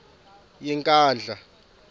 yenkandla